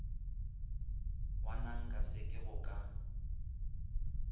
wonanka se ke go ka